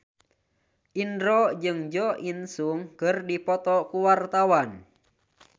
Indro jeung Jo In Sung keur dipoto ku wartawan